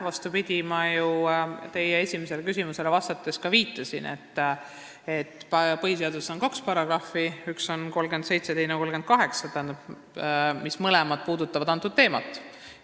Vastupidi, ma ju teie esimesele küsimusele vastates ka viitasin, et põhiseaduses on kaks paragrahvi – §-d 37 ja 38 –, mis mõlemad seda teemat puudutavad.